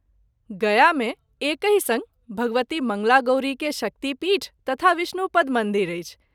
गया मे एकहि संग भगवती मंगला गौरी के शक्ति पीठ तथा विष्णु पद मंदिर अछि।